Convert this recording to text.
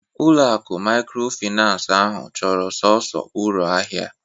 Ulo akụ maykrofinans ahụ chọrọ sọnsọ uru ahịa